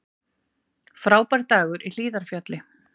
Frábær dagur í Hlíðarfjalli